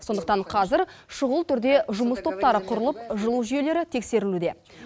сондықтан қазір шұғыл түрде жұмыс топтары құрылып жылу жүйелері тексерілуде